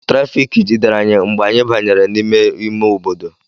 Trafiiki jidere anyị mgbe anyị banyere n'ime ime obodo.